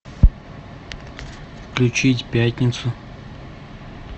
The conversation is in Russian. включить пятницу